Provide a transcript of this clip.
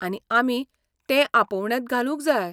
आनी आमी तें आपोवण्यांत घालूंक जाय.